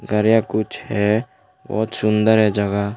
घर या कुछ है बहुत सुंदर है जगह।